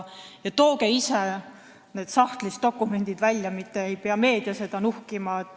Tooge ise need dokumendid sahtlist välja, et meedia ei peaks nuhkima.